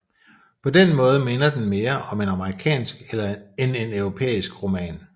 På den måde minder den mere om en amerikansk end en europæisk roman